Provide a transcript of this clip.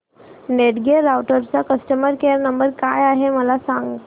Netgear राउटरचा customer care number काय आहे मला सांग